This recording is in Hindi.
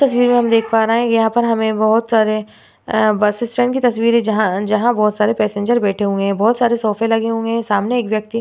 इस तस्वीर हम देख पा रहे है। यहाँ पर हमें बोहोत सारे अ बस स्टैंड की तस्वीर है जहां जहां बोहोत सारे पैसंजर बैठे हुआ है। बोहोत सारे सोफे लगे हुए है। सामने एक व्यक्ति--